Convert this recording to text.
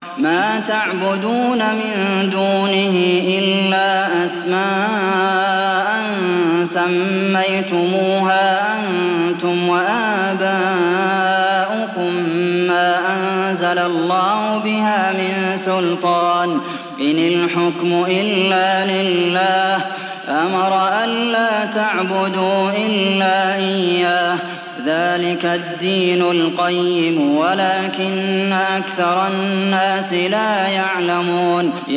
مَا تَعْبُدُونَ مِن دُونِهِ إِلَّا أَسْمَاءً سَمَّيْتُمُوهَا أَنتُمْ وَآبَاؤُكُم مَّا أَنزَلَ اللَّهُ بِهَا مِن سُلْطَانٍ ۚ إِنِ الْحُكْمُ إِلَّا لِلَّهِ ۚ أَمَرَ أَلَّا تَعْبُدُوا إِلَّا إِيَّاهُ ۚ ذَٰلِكَ الدِّينُ الْقَيِّمُ وَلَٰكِنَّ أَكْثَرَ النَّاسِ لَا يَعْلَمُونَ